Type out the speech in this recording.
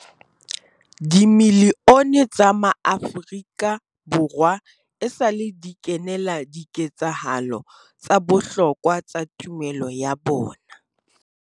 Dimilione tsa maAfrika Borwa esale di kenela di ketsahalo tsa bohlokwa tsa tumelo ya bona.